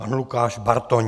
Pan Lukáš Bartoň.